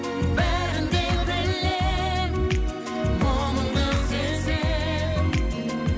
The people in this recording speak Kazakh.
бәрін де білем мұңыңды сезем